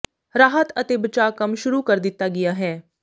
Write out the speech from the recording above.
ਰਾਹਤ ਅਤੇ ਬਚਾਅ ਕੰਮ ਸ਼ੁਰੂ ਕਰ ਦਿਤਾ ਗਿਆ ਹੈ